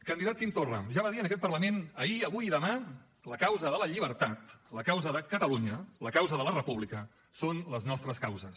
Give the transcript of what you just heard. candidat quim torra ja va dir en aquest parlament ahir avui i demà la causa de la llibertat la causa de catalunya la causa de la república són les nostres causes